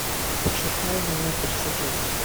пошукай номер триста девять